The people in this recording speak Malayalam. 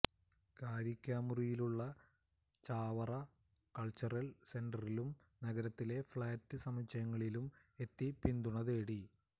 കാരിക്കാമുറിയിലുള്ള ചാവറ കൾച്ചറൽ സെന്ററിലും നഗരത്തിലെ ഫ്ലാറ്റ് സമുച്ചയങ്ങളിലും എത്തി പിന്തുണതേടി